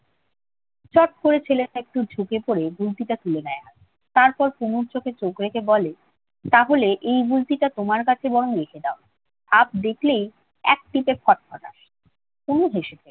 চট করে ছেলেটা একটু ঝুঁকে পড়ে গুলতিটা তুলে নেয় হাতে। তারপর তনুর চোখে চোখ রেখে বলে, তাহলে এই গুলতিটা তোমার কাছে বরং রেখে দাও। সাপ দেখলে এক টিপে খট্ খটাস। তনু হেসে ফেলল।